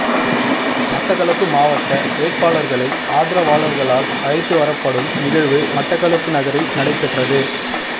மட்டக்களப்பு மாவட்ட வேட்பாளர்களை ஆதரவாளர்களால் அழைத்து வரப்படும் நிகழ்வு மட்டக்களப்பு நகரில் நடைபெற்றது